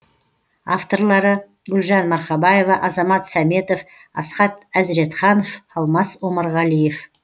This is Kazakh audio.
авторлары гүлжан марқабаева азамат сәметов асхат әзретханов алмас омарғалиев